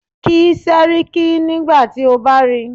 Kí Séríkí nígbà tí o bá ríi.